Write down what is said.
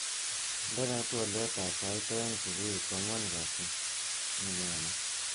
Indenee twoliotab sait aeng subui koanwan kasi nenyone